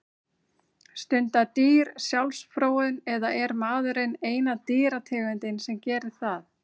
Stunda dýr sjálfsfróun eða er maðurinn eina dýrategundin sem gerir það?